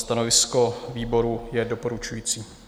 Stanovisko výboru je doporučující.